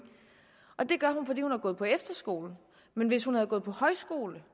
og det gør hun fordi hun har gået på efterskole men hvis hun havde gået på højskole